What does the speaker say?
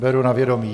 Beru na vědomí.